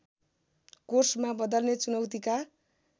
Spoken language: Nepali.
कोर्समा बदल्ने चुनौतीका